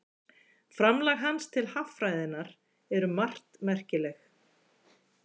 framlag hans til haffræðinnar er um margt merkilegt